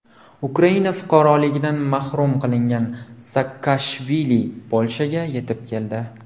Ukraina fuqaroligidan mahrum qilingan Saakashvili Polshaga yetib keldi.